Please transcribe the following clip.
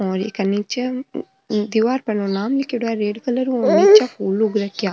और इ का नीचे दिवार पर यो नाम लीखेड़ो है रेड कलर हु नीचे फूल उग रखया।